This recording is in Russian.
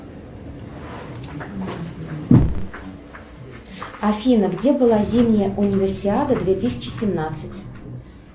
афина где была зимняя универсиада две тысячи семнадцать